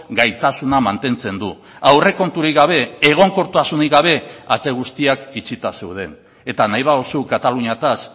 gaitasuna mantentzen du aurrekonturik gabe egonkortasunik gabe ate guztiak itxita zeuden eta nahi baduzu kataluniaz